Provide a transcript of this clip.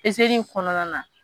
kɔnɔna na.